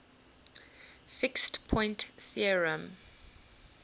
fixed point theorem